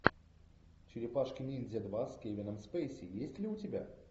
черепашки ниндзя два с кевином спейси есть ли у тебя